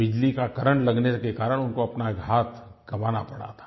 बिजली का करेंट लगने के कारण उनको अपना एक हाथ गँवाना पड़ा था